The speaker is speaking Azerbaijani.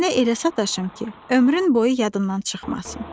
Sənə elə sataşım ki, ömrün boyu yadımdan çıxmasın.